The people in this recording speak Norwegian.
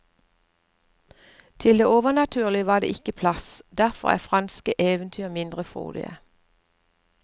Til det overnaturlige var det ikke plass, derfor er franske eventyr mindre frodige.